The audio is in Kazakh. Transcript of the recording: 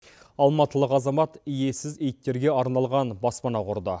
алматылық азамат иесіз иттерге арналған баспана құрды